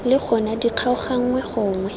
le gona di kgaoganngwe gonwe